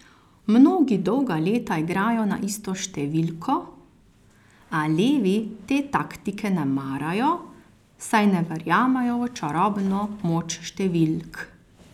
Mnogi dolga leta igrajo na isto številko, a levi te taktike ne marajo, saj ne verjamejo v čarobno moč številk.